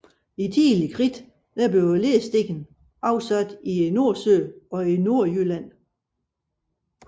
I Tidlig Kridt blev lersten afsat i Nordsøen og i Nordjylland